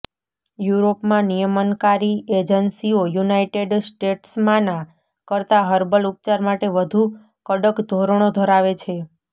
યુરોપમાં નિયમનકારી એજન્સીઓ યુનાઇટેડ સ્ટેટ્સમાંના કરતા હર્બલ ઉપચાર માટે વધુ કડક ધોરણો ધરાવે છે